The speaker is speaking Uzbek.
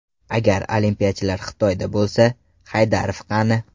Agar olimpiyachilar Xitoyda bo‘lsa, Haydarov qani?